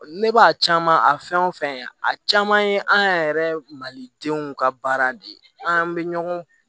Ne b'a caman a fɛn o fɛn a caman ye an yɛrɛ malidenw ka baara de ye an bɛ ɲɔgɔn